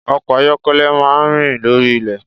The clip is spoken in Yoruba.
Ọkọ̀ ayọ́kẹ́lẹ́ máa rìn lórí ilẹ̀.